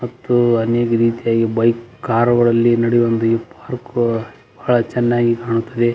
ಹನಿ ಬಿದೈತೆ ಬೈಕ್ ಕಾರ್ಗಳಲ್ಲಿ ನಡೆಯು ಒಂದು ಈ ಪಾರ್ಕ್ ಬಹಳ ಚೆನ್ನಗಿ ಕಾಣ್ತದೆ --